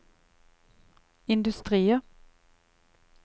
industrier